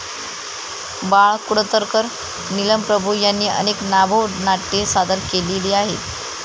बाळ कुडतरकर, नीलम प्रभू यांनी अनेक नभोनाट्ये सादर केलेली आहेत.